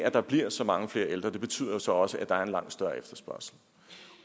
at der bliver så mange flere ældre betyder så også at der er en langt større efterspørgsel